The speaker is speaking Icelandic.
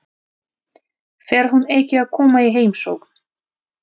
Fer hún ekki að koma í heimsókn?